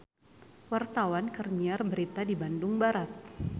Wartawan keur nyiar berita di Bandung Barat